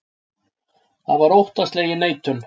Það var óttaslegin neitun.